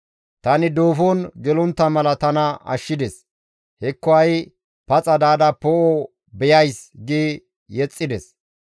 Tani duufon gelontta mala tana ashshides; hekko ha7i paxa daada tani poo7o beyays› gi yexxides.